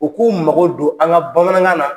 U k'u mago don an ka bamanankan na